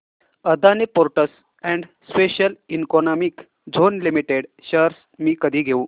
Adani ports and special economic zone limited shares मी कधी घेऊ